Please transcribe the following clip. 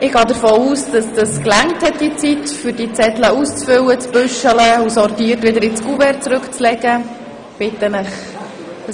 Es gibt anscheinend keine weiteren Fraktionssprecherinnen und -sprecher.